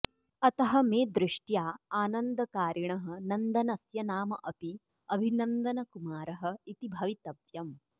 अतः मे दृष्ट्या आनन्दकारिणः नन्दनस्य नाम अपि अभिनन्दनकुमारः इति भवितव्यम्